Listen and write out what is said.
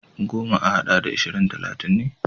Goma a haɗa da ashirin talatin ne.